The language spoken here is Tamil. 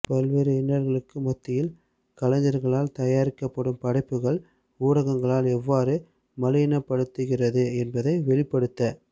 பல்வேறு இன்னல்களுக்கு மத்தியில் கலைஞர்களால் தயாரிக்கப்படும் படைப்புக்கள் ஊடகங்களால் எவ்வாறு மலினப்படுத்துகிறது என்பதை வெளிப்படுத